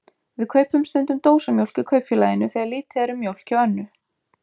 Við kaupum stundum dósamjólk í Kaupfélaginu þegar lítið er um mjólk hjá Önnu.